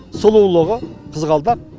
сұлулығы қызғалдақ